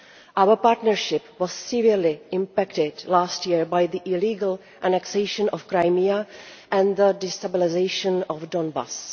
Our partnership was severely impacted last year by the illegal annexation of Crimea and the destabilisation of Donbas.